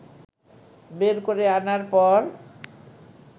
বের করে আনার পর